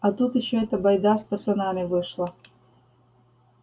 а тут ещё эта байда с пацанами вышла